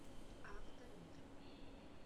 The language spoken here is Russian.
авто мир